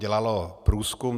Dělalo průzkum.